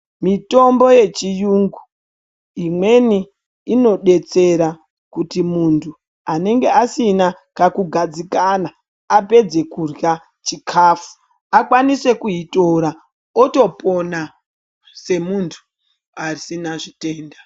Mitombo yechiyungu, imweni inodetsera kuti muntu anenge asina kakugadzikana, apedze kurya chikhafu, akwanise kuitora, otopona semuntu asina zvitenda.